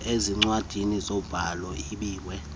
ezincwadini zobhaliso ibiwe